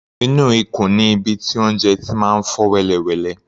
Inú ikùn ni ibi tí oúnjẹ ti máa ń fọ́ wẹ́lẹwẹ̀lẹ.